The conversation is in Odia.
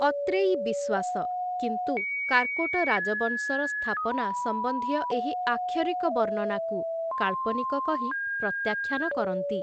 ଅତ୍ରେୟୀ ବିଶ୍ଵାସ କିନ୍ତୁ କାର୍କୋଟ ରାଜବଂଶର ସ୍ଥାପନା ସମ୍ବନ୍ଧୀୟଏହି ଆକ୍ଷରିକ ବର୍ଣ୍ଣନାକୁ, କାଳ୍ପନିକ କହି ପ୍ରତ୍ୟାଖ୍ୟାନ କରନ୍ତି ।